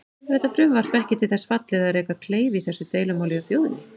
Er þetta frumvarp ekki til þess fallið að reka kleif í þessu deilumáli hjá þjóðinni?